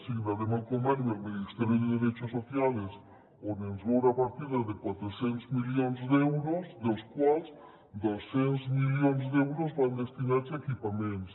signarem el conveni amb el ministerio de derechos sociales on ens ve una partida de quatre cents milions d’euros dels quals dos cents milions d’euros van destinats a equipaments